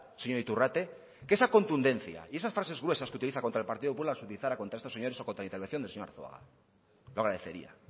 señor iturrate que esa contundencia y esas frases gruesas que utilizan contra el partido popular las utilizará contra estos señores o contra la intervención del señor arzuaga lo agradecería